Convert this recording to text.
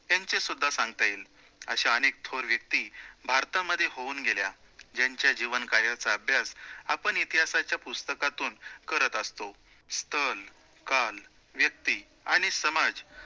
त्यांचे सुद्धा सांगता येईल, अश्या अनेक थोर व्यक्ति भारतामध्ये होऊन गेल्या, ज्यांच्या जीवन कार्याचा अभ्यास आपण इतिहासाच्या पुस्तकातून करत असतो. स्थळ, काळ, व्यक्ति आणि समाज या